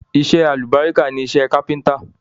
Iṣẹ́ alálùbáríkà ni iṣẹ́ ni iṣẹ́ kápẹ́ńtírì.